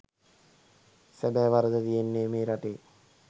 සැබෑ වරද තියෙන්නේ මේ රටේ